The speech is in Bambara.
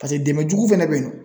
pase dɛmɛ jugu fɛnɛ be yen nɔ